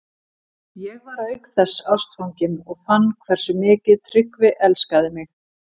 Ég var auk þess ástfangin og fann hversu mikið Tryggvi elskaði mig.